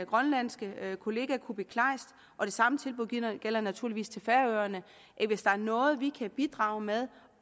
grønlandske kollega kuupik kleist og det samme tilbud gælder gælder naturligvis til færøerne at hvis der er noget vi kan bidrage med